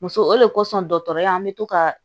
Muso o de kosɔn dɔgɔtɔrɔya an bɛ to ka